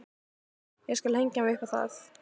Ég skal hengja mig upp á það!